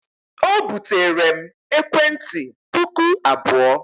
O buteere m ekwentị puku abụọ.